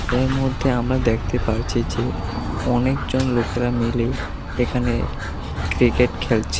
এর মধ্যে আমরা দেখতে পারছি যে অনেকজন লোকেরা মিলে এখানে ক্রিকেট খেলছে।